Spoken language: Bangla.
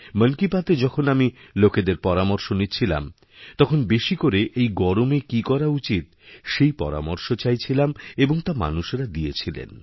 মন কিবাতএ যখন আমি লোকেদের পরামর্শ নিচ্ছিলাম তখন বেশি করে এই গরমে কী করা উচিত সেই পরামর্শচাইছিলাম এবং তা মানুষেরা দিয়েছিলেন